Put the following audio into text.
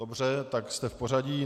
Dobře, tak jste v pořadí.